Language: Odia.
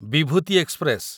ବିଭୂତି ଏକ୍ସପ୍ରେସ